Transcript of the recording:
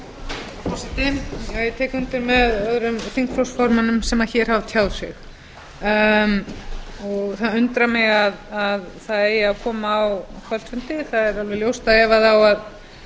forseti ég tek undir með öðrum þingflokksformönnum sem hér hafa tjáð sig og það undrar mig að það eigi að koma á kvöldfundi það er alveg ljóst að ef á að